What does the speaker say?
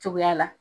Cogoya la